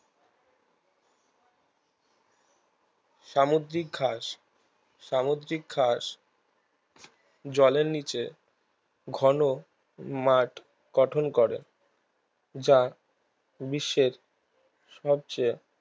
সামুদ্রিক ঘাস সামুদ্রিক ঘাস জলের নিচে ঘন মাঠ গঠন করে যা বিশ্বের সবচেয়ে